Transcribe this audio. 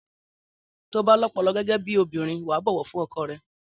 Tó bà lọpọlọ gẹgẹ bí òbínrìn wà bówò fún ọkọ rẹ